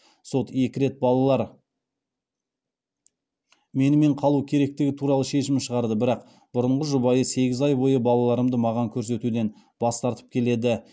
сот екі рет балалар менімен қалу керектігі туралы шешім шығарды бірақ бұрынғы жұбайым сегіз ай бойы балаларымды маған көрсетуден бас тартып келеді